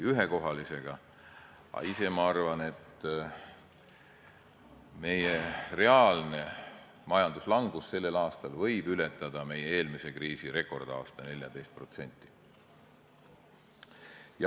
Aga ise ma arvan, et meie reaalne majanduslangus sellel aastal võib ületada meie eelmise kriisi rekordaasta 14%.